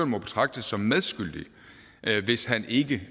må betragtes som medskyldig hvis han ikke